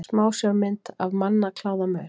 Smásjármynd af mannakláðamaur.